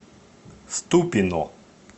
ступино